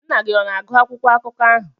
Nna gị ọ na-agụ akwụkwọ akụkọ ahụ?